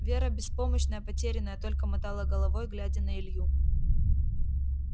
вера беспомощная потерянная только мотала головой глядя на илью